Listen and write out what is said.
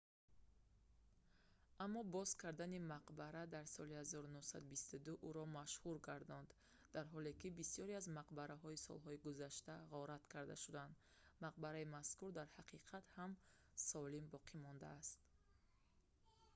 аммо боз кардани мақбара дар соли 1922 ӯро машҳур гардонд дар ҳоле ки бисёре аз мақбараҳои солҳои гузашта ғорат карда шуданд мақбараи мазкур дар ҳақиқат ҳам солим боқӣ мондааст